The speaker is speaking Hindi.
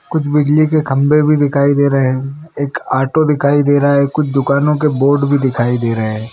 कुछ बिजली के खंभे भी दिखाई दे रहे हैं एक ऑटो दिखाई दे रहा हैं कुछ दुकानों के बोर्ड भी दिखाई दे रहे हैं।